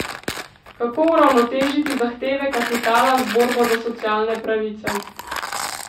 Kako uravnotežiti zahteve kapitala z borbo za socialne pravice?